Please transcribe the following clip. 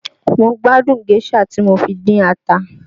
Mo gbádùn géșà tí mo fi dín ata